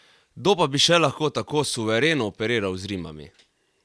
Kdo pa bi še lahko tako suvereno operiral z rimami?